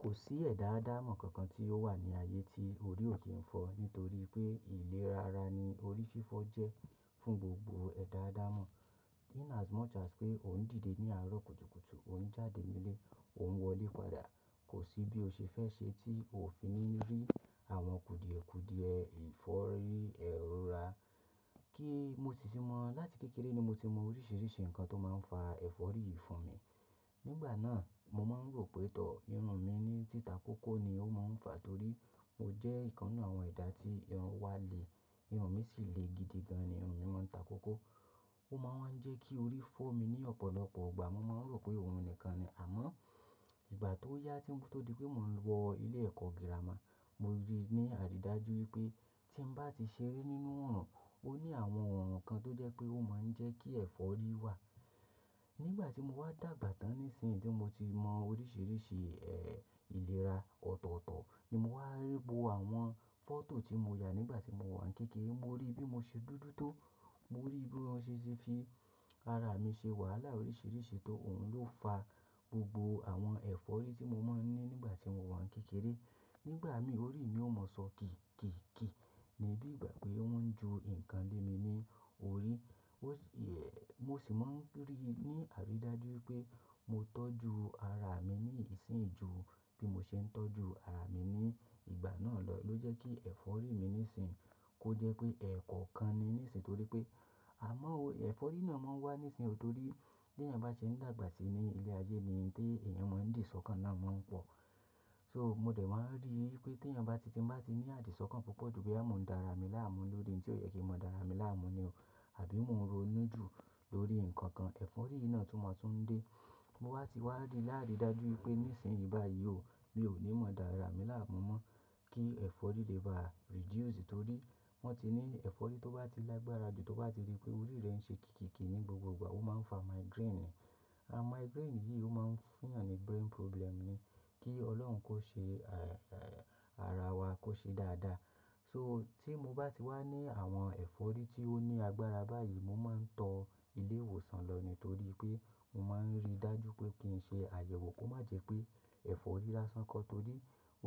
Kò sí ẹ̀dá ádámọ̀ kankan tí ó wà ní ayé tí orí ò kí n fọ nítorí pé ìlera ara ni orí fífọ́ jẹ́ fún gbogbo ẹ̀dá ádámọ̀. In as much as pé ò ń dìde ní àárọ̀ kùtùkùtù, ò ń jáde nílé, ò ń wọlé padà, kò sí bí o ṣe fẹ́ ṣe tí o ò fi ní rí àwọn kùdìẹ̀kùdìẹ ìfọ́rí ẹrù ra. Kí mo sì ti mọ̀, láti kékeré ni mo ti mọ oríṣiríṣi nǹkan tó máa ń fa ẹ̀fọ́rí fún mi. Nígbà náà, mo máa ń rò pé tọ́, irun mi ní títa kókó ni ó máa ń fà torí ó jẹ́ ìkanu àwọn ìdà tí irun ń wá le. Irun mi sì le gidi gan, irun mi máa ń ta kókó. Ó máa ń jẹ́ kí orí fọ́ mi ní ọ̀pọ̀lọpọ̀ ìgbà. Mo máa ń rò pé òun nìkan ni. Àmọ́ ìgbà tó yá tí mo tó di pé mò ń wọ ilé ẹ̀kọ́ gírámà, mo rí ní àridajuju wípé tí n bá ti ṣeré nínú oòrùn, ó ní àwọn ohun kan tó jẹ́ pé ó máa ń jẹ́ kí ẹ̀fọ́rí wà. Nígbà tí mo wá dàgbà tán nísinyi tí mo ti mọ oríṣiríṣi, ẹ́, ìlera ọ̀tọ̀ọ̀tọ̀ ni mo wá rí bo àwọn fọ́tò tí mo yà nígbà tí mo wà ní kékeré. Mo rí bí mo ṣe dúdú tó, mo rí bí wọ́n ṣe ṣe fi ara mi ṣe wàhálà oríṣiríṣi tó òun ló fa gbogbo àwọn ẹ̀fọ́rí tí mo máa ń ní nígbà tí mo wà ní kékeré. Nígbà mi orí mi ò mọ sọ kììkììkìì níbí ìgbà pé wọ́n ń ju nǹkan lé mi ní orí. Ó sì, ẹ́, mo sì máa ń rí i ní àrídájú wípé mo tọ́jú ara mi ní ìsìnyí ju bí mo ṣe ń tọ́jú ara mi ní ìgbà náà lọ ló jẹ́ kí ẹ̀fọ́rí mi nísinyi kó jẹ́ pé ẹ̀ kọ̀ọ̀kan ni nísinyi torí pé, àmọ́ o, ẹ̀fọ́rí náà máa ń wá nísinyi torí tí èèyàn bá ṣe ń dàgbà sí ní ilé ayé yìí ni tí èèyàn máa ń dì sókàn náà máa ń pọ̀. So mo dẹ̀ máa ń rí i pé tí èèyàn bá ti, tí n bá ti ní àdìsọkàn púpọ̀ ju boya mo ń dá ara mi láàmú lórin tí ó yẹ kí n máa dá ara mi láàmú ni o, àbí mo ń ronú jù lórí nǹkan kan, ẹ̀fọ́rí yìí náà tún máa tún dé. Mo wá ti wá ri láàri dájú wípé nísinyi báyìí o mi ò ní mọ dá ara mi láàmú mọ́ kí ẹ̀fọ́rí lè ba reduce torí wọ́n ti ní ẹ̀fọ́rí tó bá ti lágbára jù, tó bá ti rí pé orí rẹ ń ṣe kìkìkì ní gbogbo ìgbà, ó máa ń fa migraine ni. Àn migraine yìí ó máa ń fún èèyàn ní brain problem ni. Kí Ọlọ́run kó ṣe, ẹ́, ara wa kó ṣe dáadáa. So tí mo bá ti wá ní àwọn ẹ̀fọ́rí tí ó ní agbára báyìí, mo máa ń tọ ilé ìwòsàn lọ ni torí pé mo máa ń rí dájú pé kí n ṣe àyẹ̀wò kó má jẹ pé ẹ̀fọ́rí lásán kọ́ torí